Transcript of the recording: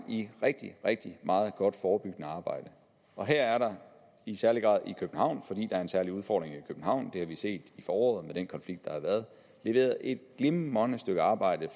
i rigtig rigtig meget godt forebyggende arbejde og her er der i særlig grad i københavn fordi er en særlig udfordring i københavn det har vi set i foråret med den konflikt der har været leveret et glimrende stykke arbejde